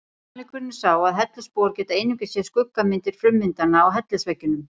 Sannleikurinn er sá að hellisbúar geta einungis séð skuggamyndir frummyndanna á hellisveggjunum.